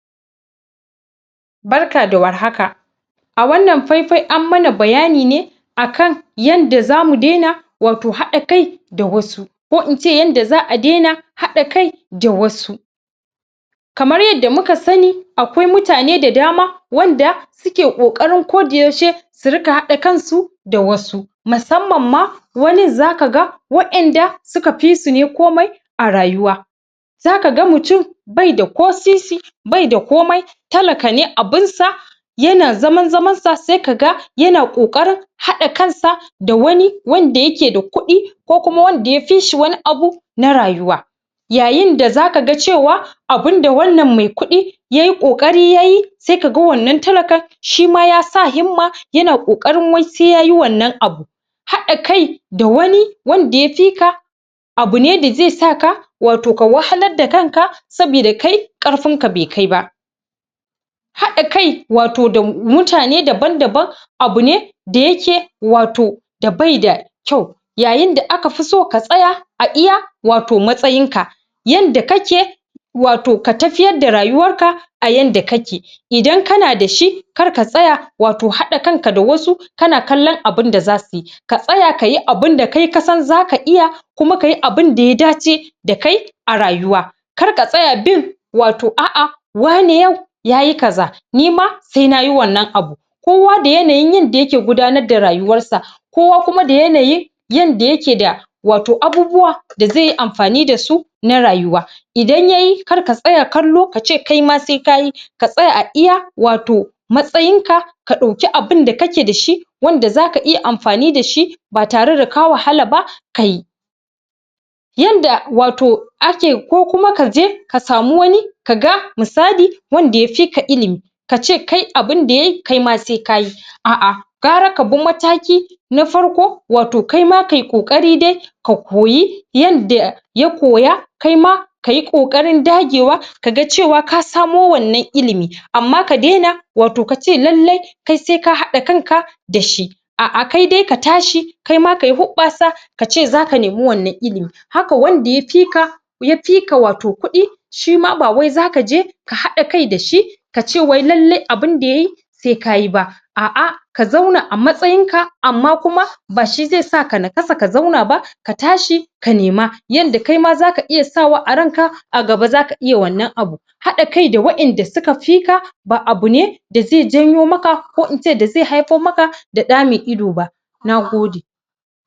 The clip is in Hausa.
barka da war haka a wannan fai fai an mana bayani ne yanda zamu daina wato haɗa kai da wasu ko ince yanda za'a daina haɗa kai da da wasu kamar yadda muka sani akwai mutane da dama wanda suke kokari ko da yaushe su ringa haɗa kan su da wasu musamman ma wanin zaka ga wa'en da suka fisu ne komai a rayuwa zaka ga mutum baida ko sisi baida komai talaka ne abunsa yana zaman zaman sa sai ka ga yana kokarin haɗa kan sa da wani wanda yake da kuɗi ko kuma wanda ya fi shi wani abu na rayuwa yayin da zaka ga cewa abun da wannan mai kuɗi yayi kokari yayi sai ka ga wannan talaka shima ya sa himma yana kokari wai sai yayi wannan abu haɗa kai da wani wanda ya fi ka abune da zai saka wato ka wahalar da kan an sabida kai karfin fa bai kai ba haɗa kai wato da mutane daban daban abu ne da yake wato da bai da kyau yayin da aka fiso ka tsaya aiya matsayin ka yanda kake wato ka tafiƴar da rayuwan ka a yanda kake idan kana da shi kar ka tsaya wato haɗa kan ka da wasu kana kallan abun da zasuyi ka tsaya kayi abun da kai ka san zaka iya kuma kayi abun da ya dace da kai a rayuwa kar ka tsaya bin wato a'a wane yau yayi kaza nima sai nayi wannan abu kowa da yanayin yanda yake gudanar da rayuwansa kowa kuma da yanayin yanda yake da wato abubuwa da zaiyi amfani dasu na rayuwa idan yayi kar ka tsaya kallo kace kai ma sai kayi ka tsaya a iya wato matsayin ka dauke abun da kake dashi wanda zaka iya amfani dashi ba tare da ka wahala ba kayi yanda ake wato ko kuma kaje ka samu wani ka ga misali wanda yafi ka ilimi kace kai abin da yayi kai ma sai kayi a'a gwara ka bi mataki na farko wato kai ma kayi kokari dai ka koyi yanda ya koya kai ma kayi kokarin ɗagewa ka ga cewa ka samo wannan ilimi amma ka daina wato kace lallai sai ka hada kan ka dashi a'a kai dai ka tashi kai ma kayi huɓbasa kace zaka nemi wannan ilimi haka wanda yafi ka wato kuɗi shima ba wai zaka je ka haɗa kai dashi kace wai lallai abun da yayi sai kayi ba a'a ka zauna a matsayin ka amma ba shi zai sa ka nakasa ka zauna ba ka tashi ka nima yanda kai ma zaka iya sawa a ran ka a gaba zaka iya wannan abu hada kai da wa'en da suka fika ba abu ne da zai janyo maka ko ince da zai haifo maka da ɗaa mai ido ba nagode.